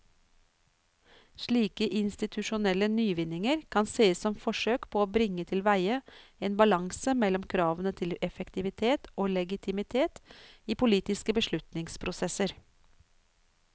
Slike institusjonelle nyvinninger kan sees som forsøk på å bringe tilveie en balanse mellom kravene til effektivitet og legitimitet i politiske beslutningsprosesser.